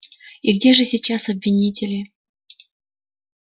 и где же сейчас обвинители